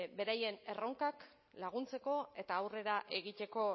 beraien erronkak laguntzeko eta aurrera egiteko